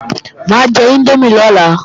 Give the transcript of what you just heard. Mà á jẹ índómì lọ́la